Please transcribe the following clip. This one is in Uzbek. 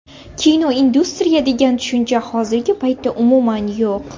Kinoindustriya degan tushuncha hozirgi paytda umuman yo‘q.